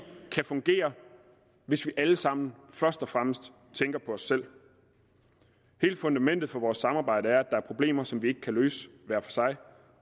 kan fungere hvis vi alle sammen først og fremmest tænker på os selv hele fundamentet for vores samarbejde er at er problemer som vi ikke kan løse hver for sig